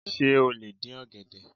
Sé o lè dín ọ̀gẹ̀dẹ̀?